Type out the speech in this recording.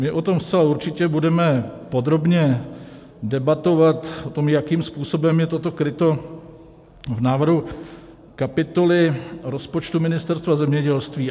My o tom zcela určitě budeme podrobně debatovat, o tom, jakým způsobem je toto kryto v návrhu kapitoly rozpočtu Ministerstva zemědělství.